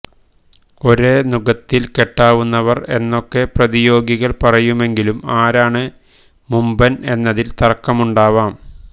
ഒരേ നുകത്തിൽ കെട്ടാവുന്നവർ എന്നൊക്കെ പ്രതിയോഗികൾ പറയുമെങ്കിലും ആരാണ് മുമ്പൻ എന്നതിൽ തർക്കമുണ്ടാവാം